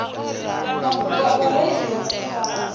mafhungo a vhareili vha dziṱhirakha